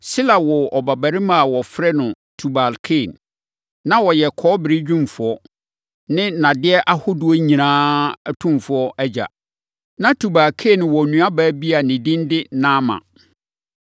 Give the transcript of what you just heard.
Sila woo ɔbabarima a wɔfrɛ no Tubal-Kain. Na ɔyɛ kɔbere dwumfoɔ ne nnadeɛ ahodoɔ nyinaa atomfoɔ agya. Na Tubal-Kain wɔ nuabaa bi a ne din de Naama.